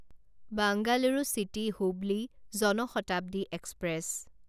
Bengaluru city Hubli Jan Shatabdi express